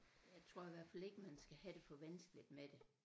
Jeg tror i hvert fald ikke man skal have det for vanskeligt med det